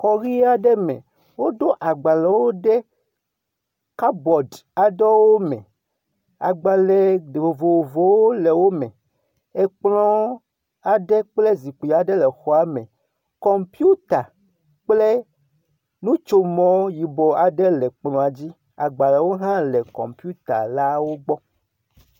Xɔ ʋi aɖe me woɖo agbalewo ɖe kabɔd aɖewo me. Agbale vovovowo le wo me. Ekplɔ aɖe kple zikpui aɖe le xɔa me. Kɔmpita kple nutsomɔ yibɔ aɖe le kplɔa dzi. Agbalewo hã le kɔmpita la gbɔ.